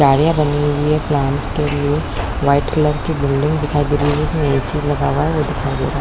क्यारियाँ बने हुए है प्लांट्स के लिए व्हाइट कलर की बिल्डिंग दिखाई दे रही है जिसमे ए_सी लगा हुआ है वो दिखाई दे रहा है।